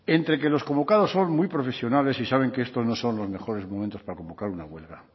entre que los convocados son muy profesionales y saben que esto no son los mejores momentos para convocar una huelga